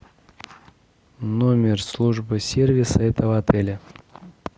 номер службы сервиса этого отеля